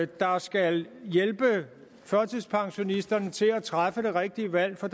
der skal hjælpe førtidspensionisterne til at træffe det rigtige valg for